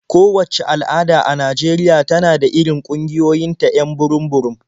Kowacce al'ada a Najeriya tana da irin ƙungiyoyinta 'yan burum-burum.